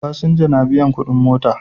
Fasinja na biyan kudin mota